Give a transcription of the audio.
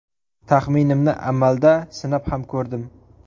Taxminimni amalda sinab ham ko‘rdim.